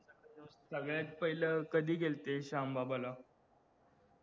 सगळ्यात पाहिलं कधी जळते श्यामबाबा ला